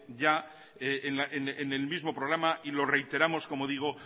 ya en el mismo programa y lo reiteramos como digo